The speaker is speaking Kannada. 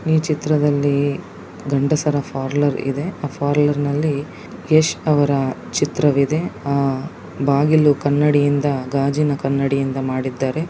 ಈ ಚಿತ್ರದಲ್ಲಿ ಗಂಡಸರ ಪಾರ್ಲರ್ ಇದೆ. ಆ ಪರ್ಲೌರ್ ಅಲ್ಲಿ ಯಶ್ ಅವರ ಚಿತ್ರ ಇದೆ .ಬಾಗಿಲು ಕನ್ನಡಿ ಗಾಜಿನ ಕನ್ನಡಿಯಿಂದ ಮಾಡಿದ್ದಾರೆ .